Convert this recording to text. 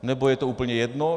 Nebo je to úplně jedno?